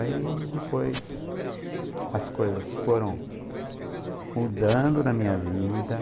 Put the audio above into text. Aí depois as coisas foram mudando na minha vida.